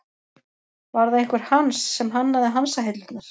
Var það einhver Hans sem hannaði hansahillurnar?